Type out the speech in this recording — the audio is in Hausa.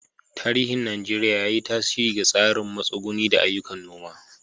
Tarihin Najeriya, ya yi tasiri ga tsarin matsuguni da ayyukan noma.